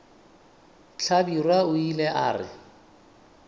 hlabirwa o ile a re